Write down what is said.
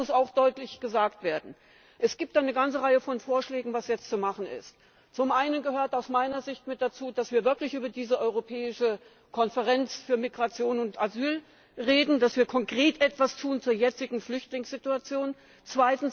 Das muss auch deutlich gesagt werden! Es gibt eine ganze Reihe von Vorschlägen, was jetzt zu machen ist Zum einen gehört aus meiner Sicht mit dazu, dass wir wirklich über diese europäische Konferenz für Migration und Asyl reden, dass wir konkret etwas zur jetzigen Flüchtlingssituation tun.